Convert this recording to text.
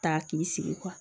Ta k'i sigi